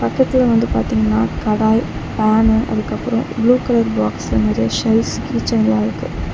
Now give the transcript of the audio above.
பக்கத்துல வந்து பாத்தீங்னா கடாய் பானு அதுக்கப்றோ ப்ளூ கலர் பாக்ஸ்ல நெறைய ஷெல்ஸ் கீ செயின்லா இருக்கு.